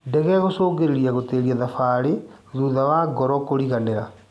Ndege gũcũngĩrĩrio gũtĩĩria thabarĩ thutha wa ngoro kũriganĩra.